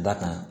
Da kan